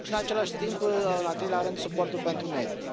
Și în același timp, în al treilea rând, suportul pentru mediu.